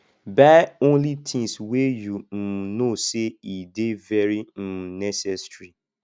buy only tins wey yu um no sey e dey very um necessary